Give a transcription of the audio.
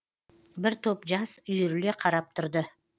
бір топ жас үйіріле қарап тұрды